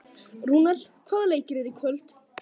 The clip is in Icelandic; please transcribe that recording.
Rúnel, hvaða leikir eru í kvöld?